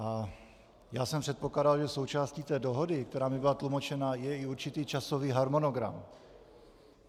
A já jsem předpokládal, že součástí té dohody, která mi byla tlumočena, je i určitý časový harmonogram.